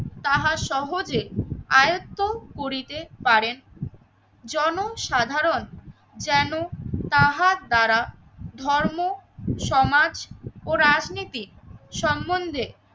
তাহা সহজে আয়ত্ত করিতে পারেন। জনসাধারণ যেন তাহার দ্বারা ধর্ম, সমাজ ও রাজনীতিক সম্বন্ধে